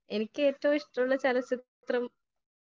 speaker 1 എനിക്ക് ഏറ്റവും ഇഷ്ടമുള്ള ചലച്ചിത്രം